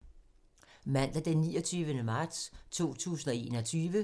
Mandag d. 29. marts 2021